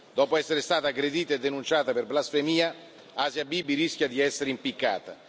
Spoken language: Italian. Dopo essere stata aggredita e denunciata per blasfemia, Asia Bibi rischia di essere impiccata.